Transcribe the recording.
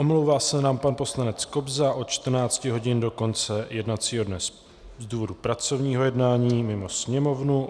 Omlouvá se nám pan poslanec Kobza od 14.00 hodin do konce jednacího dne z důvodu pracovního jednání mimo Sněmovnu.